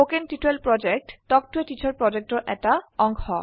কথন শিক্ষণ প্ৰকল্প তাল্ক ত a টিচাৰ প্ৰকল্পৰ এটা অংগ